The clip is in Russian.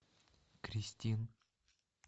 кристин